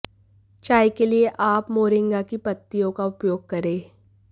चाय के लिए आप मोरिंगा की पत्तियों का उपयोग करें